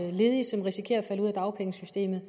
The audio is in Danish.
er ledige som risikerer at falde ud af dagpengesystemet